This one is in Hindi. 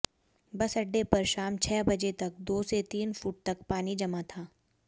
बस अड्डे पर शाम छह बजे तक दो से तीन फुट तक पानी जमा था